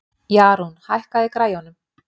Jarún, hækkaðu í græjunum.